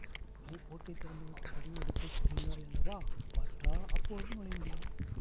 நீ பூட்டைத் திறந்துவிட்டு தடியை எடுக்க குனிந்தாயல்லவா பாட்டா அப்போது நுழைந்தேன்